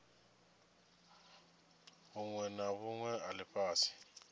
vhunwe na vhunwe ha lifhasi